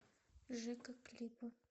жека клипы